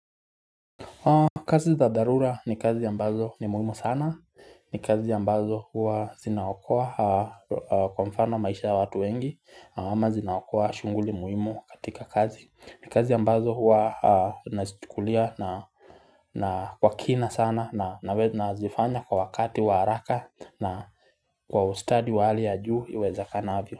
Kazi za dharura ni kazi ambazo ni muhimu sana, ni kazi ambazo huwa zinaokoa kwa mfano maisha ya watu wengi ama zinaokoa shughuli muhimu katika kazi. Ni kazi ambazo huwa nazichukulia na kwa kina sana na nazifanya kwa wakati wa haraka na kwa ustadi wa hali ya juu iwezakanavyo.